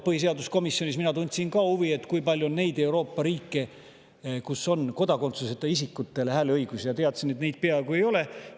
Põhiseaduskomisjonis ma tundsin ka huvi, kui palju on neid Euroopa riike, kus on kodakondsuseta isikutel hääleõigus, teades, et neid peaaegu ei ole.